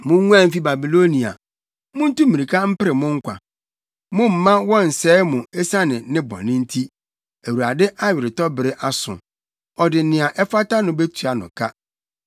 “Munguan mfi Babilonia! Muntu mmirika mpere mo nkwa! Mommma wɔnnsɛe mo esiane ne bɔne nti. Awurade aweretɔbere aso; ɔde nea ɛfata no betua no ka.